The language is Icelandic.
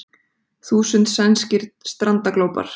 Þúsund sænskir strandaglópar